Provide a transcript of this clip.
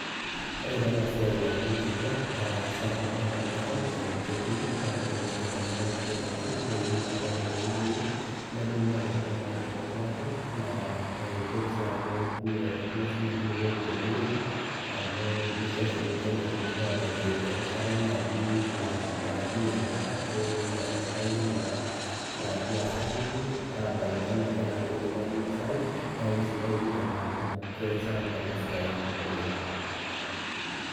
Ore tenasiai nauni orkikua naa isapuk oleng tenakop, ketii na keuni ake tenebo onkulie daikin, neuni naji ake tewueji enye, nebulu ake duo naji aitobiraki, naa itoki si aku metorrono sinye enkulukuoni tenewueji, amu kisho sininche metubulu abaiki erishata naji naakunye endaa ashu naitainye naa naji asapuku, abai naa naji enaa loidimayu ninasayu, neeku aisidai pi tenaalo kesapuk enasiai oleng.